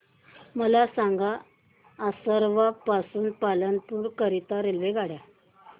मला सांगा असरवा पासून पालनपुर करीता रेल्वेगाड्या